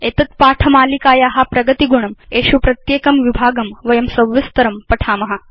एतद् पाठ मालिकाया प्रगतिगुणं एषु प्रत्येकं विभागं वयं सविस्तरं पठाम